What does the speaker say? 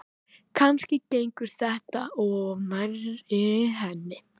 Kannski gengur þetta of nærri henni.